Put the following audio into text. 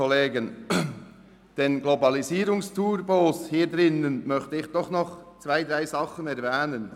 Den Globalisierungsturbos in diesem Saal möchte ich doch zwei, drei Dinge sagen.